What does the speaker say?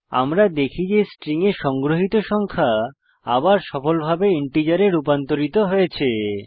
আমরা দেখি যে স্ট্রিং এ সংগ্রহিত সংখ্যা আবার সফলভাবে ইন্টিজারে রূপান্তরিত হয়েছে